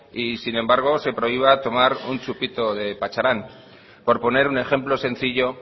y sin embargo se prohíba tomar un chupito de pacharán por poner un ejemplo sencillo